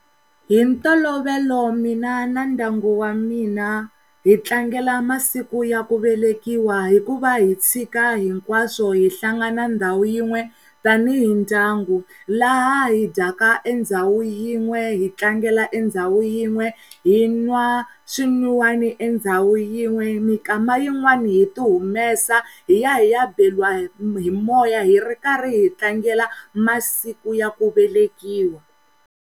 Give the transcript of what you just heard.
Hi ntolovelo mina na ndyangu wa mina hi tlangela masiku ya ku velekiwa hikuva hi tshika hinkwaswo hi hlangana ndhawu yin'we tanihi ndyangu laha hi dyaka endhawu yin'we, hi tlangela endhawu yin'we hi n'wa swin'wiwani endhawu yin'we mikama yin'wani hi ti humesa hi ya hiya beriwa hi moya hi ri karhi hi tlangela masiku ya ku velekiwa.